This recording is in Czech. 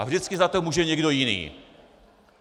A vždycky za to může někdo jiný.